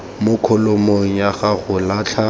mo kholomong ya go latlha